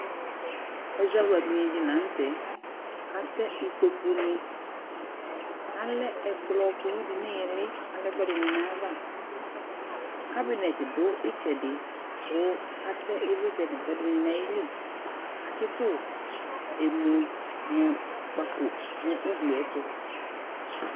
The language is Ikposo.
Ɛzawladini di lanutɛ Atɛ ɩƙpoƙʊ ŋɩ Alɛ ɛƙplɔ ƙʊlʊ di ŋɩlɩ ɛƙʊɛdɩŋɩ ŋaƴaʋa, ƙaɓɩŋɛt dʊ ɩtsɛdɩ ƙʊ atɛ ɩʋlɩtsɛ ŋɛƙʊɛdɩŋɩ naƴilɩ Atsɩtʊ ɛmʊŋʊƙpaƙo ŋʊglɩ ƴɛtʊ